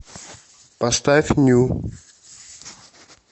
поставь ню